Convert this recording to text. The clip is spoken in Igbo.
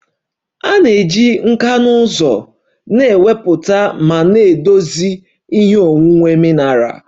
A ga-eji nkà na ụzụ na-ewepụta ma na-edozi ihe onwunwe mineral